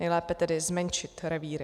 Nejlépe tedy zmenšit revíry.